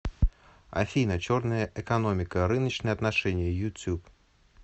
афина черная экономика рыночные отношения ютуб